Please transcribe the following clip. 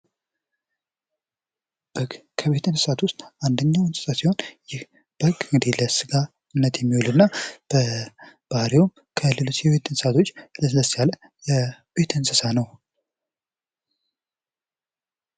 ደግ ከቤት እንስሳዎች መካከል አንደኛው እንስሳ ሲሆን ይህ በግ ለስጋነት የሚውል እና በባህሪውም ከሌሎች እንስሳቶች ለስለስ ያለ የቤት እንስሳ ነው።